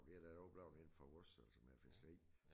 Men vi da oplært indenfor vores altså med fiskeri